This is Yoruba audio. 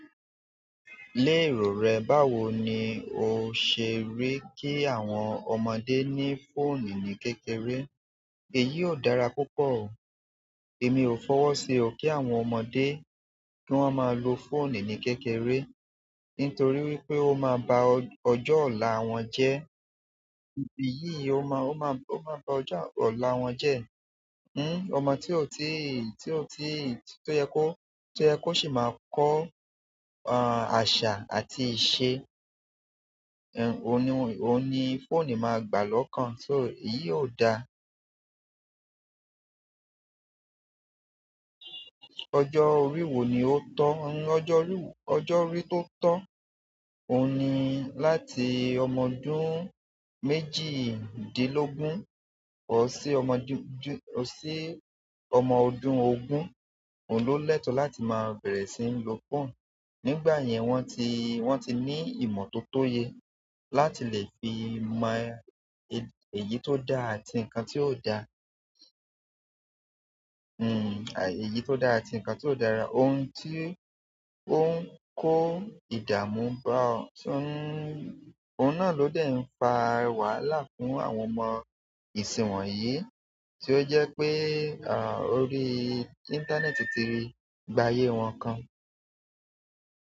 Lé èrò rẹ, báwo ni o ṣe rí kí àwọn ọmọdé ní fóònù ní kékeré? Èyí o dára púpọ̀ o. Èmi ò fọwọ́ sí o kí àwọn ọmọdé kí wọ́n máa lo fóònù ní kékeré, nítorí wípé ó máa ba ọjọ́ ọ̀la wọn jẹ́, ìbí yìí ó máa ba ọjọ́ ọ̀la wọn jẹ́. Ọmọ tí ó yẹ kó sì máa kọ́ àṣà àti ìṣe, ohun ni fóònù máa gbà lọ́kàn. So èyí ò da. Ọjọ́ orí wo ni ó tọ́? Ọjọ́ orí tó tọ́, ohun ni láti ọmọ ọdún méjìdínlógún, or sì ọmọ ọdún ogun, òun ló lẹ́tọ̀ọ́ láti máa bẹ̀rẹ̀ sí ní lo fóònù. Nígbà yẹn, wọ́n ti ní ìmọ̀ tó tóyẹ láti lè fi mọ èyí tó dá àti nǹkan tí ò dá. Èyí tó dá àti nǹkan tí ò dára. Ohun tí ó ń kó ìdààmú bá ọ tún, ohun náà ló dẹ̀ ń fa wàhálà fún àwọn ọmọ ìsì wọ́nyìí, tí ó jẹ́ pé, orí íńtánẹ́ẹ̀tì ti i gbá ayé wọn kan.